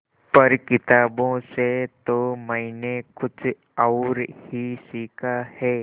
पर किताबों से तो मैंने कुछ और ही सीखा है